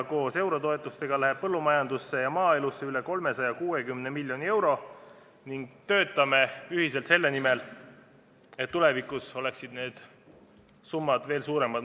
Koos eurotoetustega läheb põllumajandusse ja maaelusse üle 360 miljoni euro ning me töötame ühiselt selle nimel, et tulevikus oleksid need summad veel suuremad.